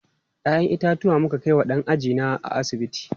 Ya'yan itatuwa muka kai wa ɗan ajina a asibiti.